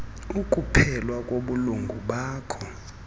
ukuphelelwa kobulungu bakho